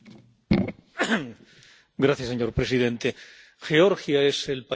Señor presidente, Georgia es el país más prometedor del Cáucaso.